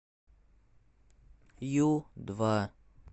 ю два